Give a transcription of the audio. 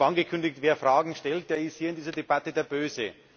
Ich habe angekündigt, wer Fragen stellt, der ist hier in dieser Debatte der Böse.